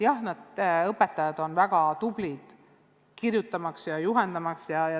Jah, õpetajad on väga tublid kirjutama ja juhendama.